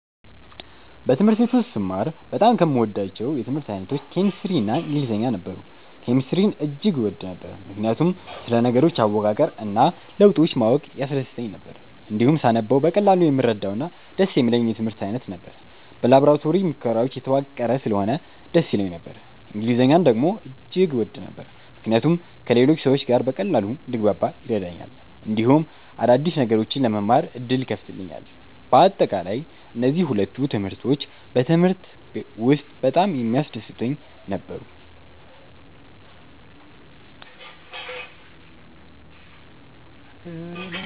በትምህርት ቤት ውስጥ ስማር በጣም ከምወዳቸው የትምህርት አይነቶች ኬሚስትሪ እና ኢንግሊዝኛ ነበሩ። ኬሚስትሪን እጅግ እወድ ነበር፣ ምክንያቱም ስለ ነገሮች አወቃቀር እና ለውጦች ማወቅ ያስደስተኝ ነበር። እንዲሁም ሳነበው በቀላሉ የምረዳውና ደስ የሚለኝ የትምህርት አይነት ነበር። በላቦራቶሪ ሙከራዎች የተዋቀረ ስለሆነ ደስ ይለኝ ነበር። እንግሊዝኛን ደግሞ እጅግ እወድ ነበር፣ ምክንያቱም ከሌሎች ሰዎች ጋር በቀላሉ እንድግባባ ይረዳኛል፣ እንዲሁም አዲስ ነገሮችን ለመማር ዕድል ይከፍትልኛል። በአጠቃላይ፣ እነዚህ ሁለቱ ትምህርቶች በትምህርቴ ውስጥ በጣም የሚያስደስቱኝ ነበሩ።